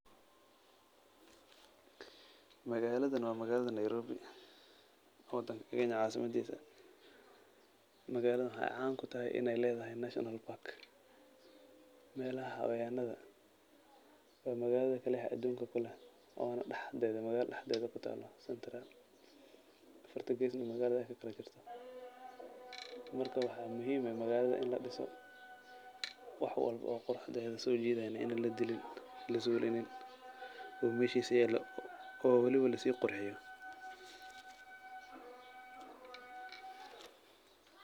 Magaaladan waa magaalada Nairobi, wadanka kenya caasaamadiisa. Magaaladan waxaay caan kutahay in ay leedahay National park meelaha xayawaanada. Waa magaalada keli ah aduunka ku leh oona dhaxdeeda magaalada dhaxdeeda ku taalo centre. Afarta geesna magaalada kakalajirto. Marka waxaa muhiim ah magaalada in ladhiso wax walbo oo quruxdeeda soojiidayna inaa ladilin, lazuulinin oo meeshiisa yaalo oo waliba lasii qurxiyo.